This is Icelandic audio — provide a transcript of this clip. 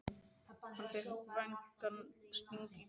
Hann fékk vægan sting í brjóstið.